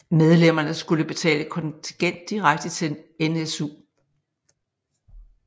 Medlemmerne skulle betale kontingent direkte til NSU